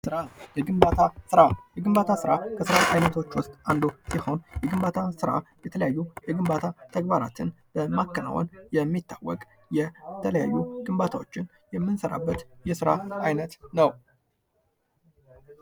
ስራ የግንባታ ሥራ ከስራ ዓይነቶች ውስጥ አንዱ ሲሆን ፤የግንባታ ስራ የተለያዩ የግንባታ ተግባራትን በማከናወን የሚታወቅ የተለያዩ ግንባታዎችን የምንሠራበት የሥራ ዓይነት ነው።